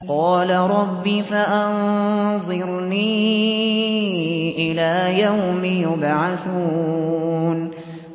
قَالَ رَبِّ فَأَنظِرْنِي إِلَىٰ يَوْمِ يُبْعَثُونَ